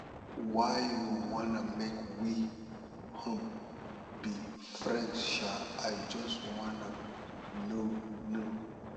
why you wan make we um be friends um i just wanna know know